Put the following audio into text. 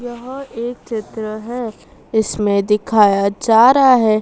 यहां एक चित्र है इसमें दिखाया जा रहा है।